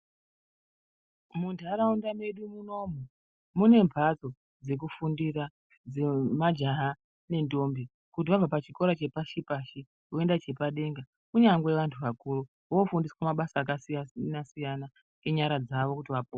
Munharaunda mwedu munomu mune mhatso dzekufundira dzemajaha nendombi kuti vabva pachikora chepashi pashi voenda chepadera kunyangwe vanhu vakuru voofundiswa mabasa akasiyana siyana enyara dzavo kuti vapone.